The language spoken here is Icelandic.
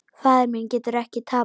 Faðir minn getur ekki tapað.